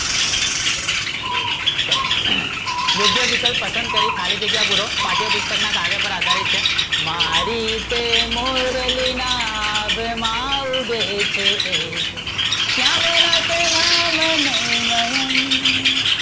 યોગ્ય વિકલ્પ પસંદ કરી ખાલી જગ્યા પૂરો, પાઠ્ય પુસ્તક ના કાવ્ય પર આધારિત છે મારી તે મોરલી ના ના આભ માં ઉગે છે એક શ્યામ ના તે નમા નો મયંક